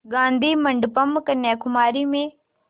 गाधी मंडपम् कन्याकुमारी में